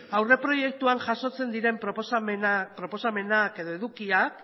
aurreproiektuan jasotzen diren proposamenak edo edukiak